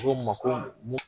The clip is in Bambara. O ko n ma ko